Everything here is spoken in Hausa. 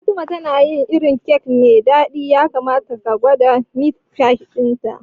Fatima na yin irin kek mai dadi, ya kamata ka gwada meat pie dinta.